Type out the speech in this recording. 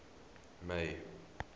may